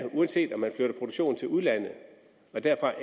uanset om man flytter produktionen til udlandet og derfra